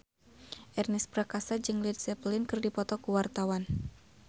Ernest Prakasa jeung Led Zeppelin keur dipoto ku wartawan